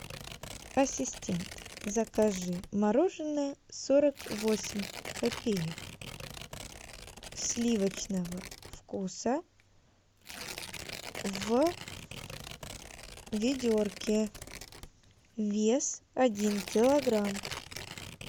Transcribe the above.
ассистент закажи мороженое сорок восемь копеек сливочного вкуса в ведерке вес один килограмм